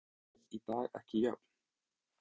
Eru tækifæri nemenda í dag ekki jöfn?